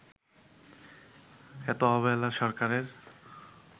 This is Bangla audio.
এত অবহেলা সরকারের